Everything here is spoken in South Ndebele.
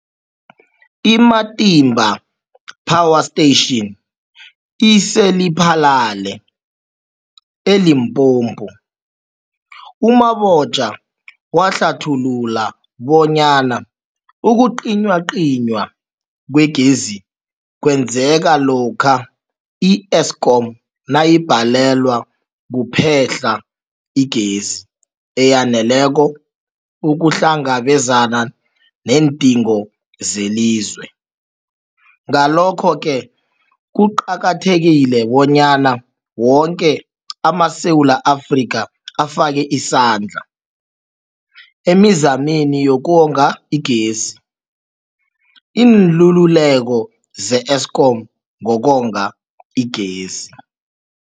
I-Matimba Power Station ise-Lephalale, eLimpopo. U-Mabotja wahlathulula bonyana ukucinywacinywa kwegezi kwenzeka lokha i-Eskom nayibhalelwa kuphehla igezi eyaneleko ukuhlangabezana neendingo zelizwe. Ngalokho-ke kuqakathekile bonyana woke amaSewula Afrika afake isandla emizameni yokonga igezi. Iinluleko ze-Eskom ngokonga igezi.